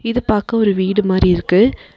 இது பாக்க ஒரு வீடு மாரி இருக்கு.